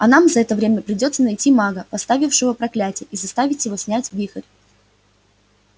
а нам за это время придётся найти мага поставившего проклятие и заставить его снять вихрь